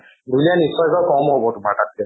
ঢুলীয়া নিশ্চয়কে কম হব তোমাৰ তাতকে।